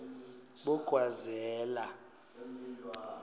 bogwazela